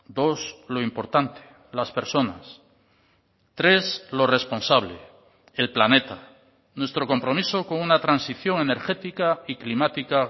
dos lo importante las personas tres lo responsable el planeta nuestro compromiso con una transición energética y climática